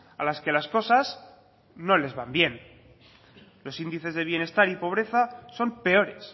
a las que las cosas no les van bien los índices de bienestar y pobreza son peores